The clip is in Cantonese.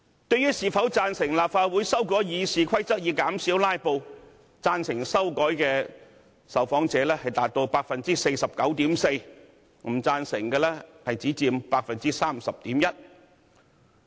對於是否贊成立法會修改《議事規則》以減少"拉布"，贊成修改的受訪者達到 49.4%， 不贊成的只佔 30.1%。